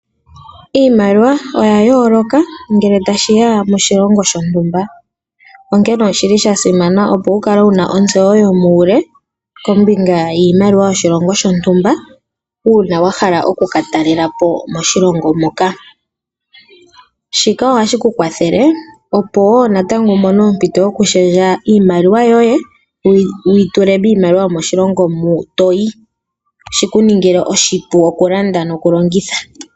Iimaliwa oya yooloka ngele tashi ya moshilongo shontumba, onkene oshili shasimana opo wukale wuna otseyo yomuule kombinga yoshilongo shontumba uuna wa hala oku ka talelapo moshilongo muka, shika ohashi ku kwathele opo woo natango wu mone ompito yokushendja iimaliwa yoye wuyi tule yomoshilongo mu toyi, shiku ningile oshipu oku landa noku longitha.